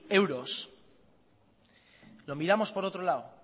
euros lo miramos por otro lado